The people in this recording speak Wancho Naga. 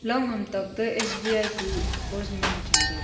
hamthak to S B I kuh postman cham taiga.